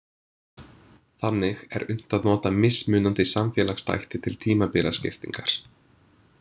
Þannig er unnt að nota mismunandi samfélagsþætti til tímabilaskiptingar.